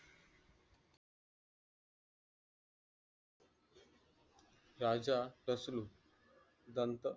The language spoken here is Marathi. राजा रसलू दंत